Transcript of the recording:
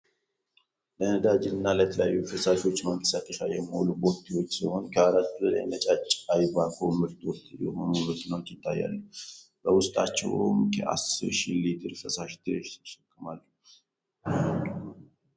ለነዳድጅ እና ለተለያዮ ፈሳሾች ማንቀሳቀሻ የሚውሉ ቦቲወች ሲሆኑ ከአራት በላይ ነጫጭ የ አይቫኮ ምርቶት የሆኑ መኪኖች ይታያሉ በውስጣቸውም ከ እስር ሽህ ሊትር ፈሳሽ ድረስ ይሸከማሉ።